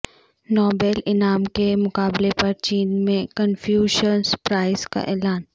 Nobel انعام کے مقابلے پر چین میں کنفیوشس پرائز کا اعلان